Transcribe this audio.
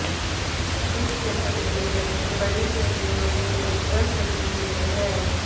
इस नस्ल के व्यक्ति बड़ी बिल्लियों के उज्ज्वल प्रतिनिधि हैं